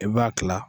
I b'a kila